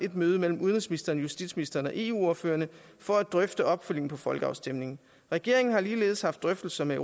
møde mellem udenrigsministeren justitsministeren og eu ordførerne for at drøfte opfølgning på folkeafstemningen regeringen har ligeledes haft drøftelser med